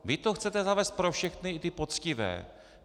Vy to chcete zavést pro všechny, i ty poctivé.